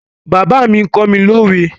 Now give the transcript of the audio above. Bàbá mi ló kọ́ mi lówe.